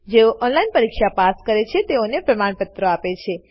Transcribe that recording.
જેઓ ઓનલાઈન પરીક્ષા પાસ કરે છે તેઓને પ્રમાણપત્રો આપે છે